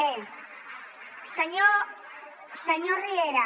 bé senyor riera